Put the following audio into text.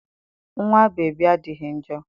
Nwa bebi adịghị njọ.